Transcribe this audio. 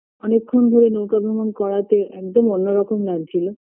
অনেক্ক্ষণ ধরে নৌকা ভ্রমণ করাতে একদম অন্যরকম লাগছিলো